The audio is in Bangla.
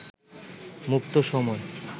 মুক্ত সময়